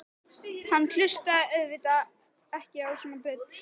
Hann hlustaði auðvitað ekki á svona bull.